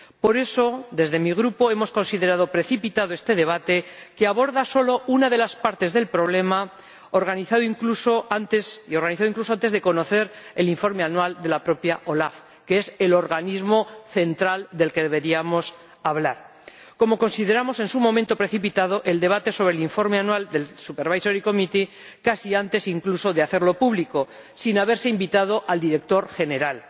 Por eso, desde mi Grupo hemos considerado precipitado este debate —que aborda solo una de las partes del problema y se ha organizado incluso antes de conocer el Informe anual de la propia OLAF, que es el organismo central del que deberíamos hablar—, como consideramos en su momento precipitado el debate sobre el Informe anual del Supervisory Committee casi antes incluso de hacerlo público, sin haberse invitado al director general.